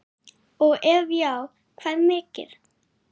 og ef já hvað mikið?